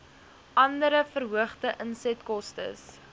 andere verhoogde insetkostes